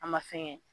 A ma fɛn kɛ